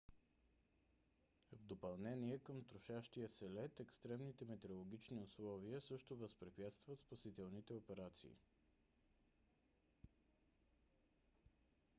в допълнение към трошащия се лед екстремните метеорологични условия също възпрепятстват спасителните операции